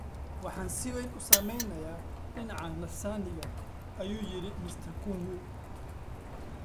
"Waxaan si weyn u saameynay dhinaca nafsaaniga," ayuu yiri Mr. Kung'u.